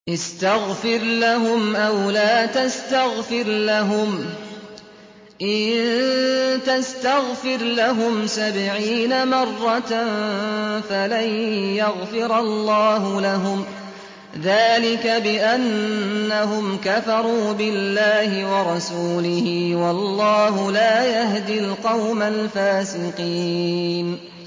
اسْتَغْفِرْ لَهُمْ أَوْ لَا تَسْتَغْفِرْ لَهُمْ إِن تَسْتَغْفِرْ لَهُمْ سَبْعِينَ مَرَّةً فَلَن يَغْفِرَ اللَّهُ لَهُمْ ۚ ذَٰلِكَ بِأَنَّهُمْ كَفَرُوا بِاللَّهِ وَرَسُولِهِ ۗ وَاللَّهُ لَا يَهْدِي الْقَوْمَ الْفَاسِقِينَ